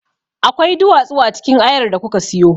Akwai duwatsu a cikin ayar da kuka siyo.